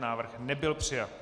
Návrh nebyl přijat.